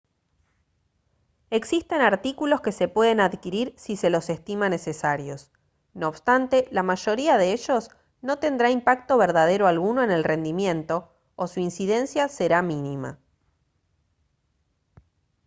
existen artículos que se pueden adquirir si se los estima necesarios no obstante la mayoría de ellos no tendrá impacto verdadero alguno en el rendimiento o su incidencia será mínima